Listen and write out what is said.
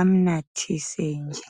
amnathise nje.